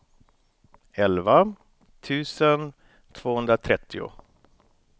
elva tusen tvåhundratrettio